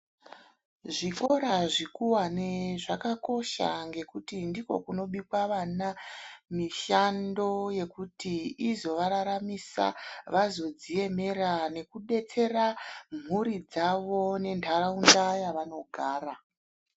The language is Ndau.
Zvikora zvekuwane zvakakosha ngekuti ndiko kunobikwe vana mishando yekuti izovararamisa vazodziemera nekudetsera mhuri dzavo nentaraunda yavanogara.